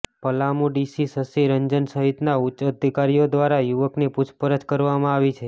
Palamu DC Shashi Ranjan સહિતના ઉચ્ચ અધિકારીઓ દ્વારા યુવકની પૂછપરછ કરવામાં આવી છે